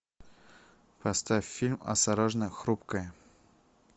поставь фильм осторожно хрупкая